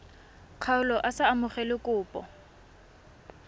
kgaolo a sa amogele kopo